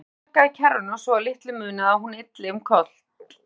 Strákurinn sparkaði í kerruna svo að litlu munaði að hún ylti um koll.